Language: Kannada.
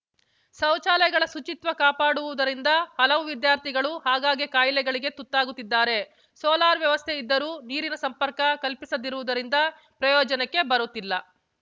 ಶೌಚಾಲಯಗಳ ಶುಚಿತ್ವ ಕಾಪಾಡದಿರುವುದರಿಂದ ಹಲವು ವಿದ್ಯಾರ್ಥಿಗಳು ಆಗಾಗ್ಗೆ ಕಾಯಿಲೆಗಳಿಗೆ ತುತ್ತಾಗುತ್ತಿದ್ದಾರೆ ಸೋಲಾರ್‌ ವ್ಯವಸ್ಥೆ ಇದ್ದರೂ ನೀರಿನ ಸಂಪರ್ಕ ಕಲ್ಪಿಸದಿರುವುದರಿಂದ ಪ್ರಯೋಜನಕ್ಕೆ ಬರುತ್ತಿಲ್ಲ